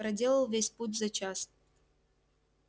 проделал весь путь за час